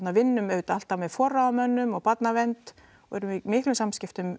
vinnum auðvitað alltaf með forráðamönnum og barnavernd og erum í miklum samskiptum